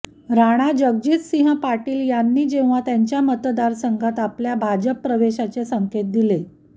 राणाजगजितसिंह पाटील यांनी जेव्हा त्यांच्या मतदारसंघात आपल्या भाजप प्रवेशाचे संकेत दिले